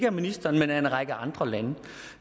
af ministeren men af en række andre lande